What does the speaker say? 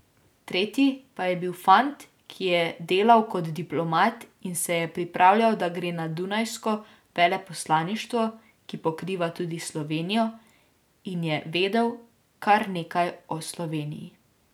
Tretji pa je bil fant, ki je delal kot diplomat in se je pripravljal, da gre na dunajsko veleposlaništvo, ki pokriva tudi Slovenijo, in je vedel kar nekaj o Sloveniji.